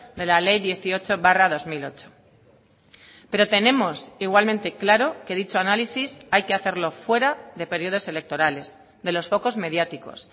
de la ley dieciocho barra dos mil ocho pero tenemos igualmente claro que dicho análisis hay que hacerlo fuera de periodos electorales de los focos mediáticos